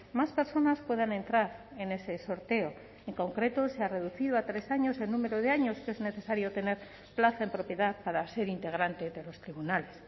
más personas puedan entrar en ese sorteo en concreto se ha reducido a tres años el número de años que es necesario tener plaza en propiedad para ser integrante de los tribunales